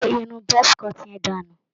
Gé irun buzz cut yẹn dànù.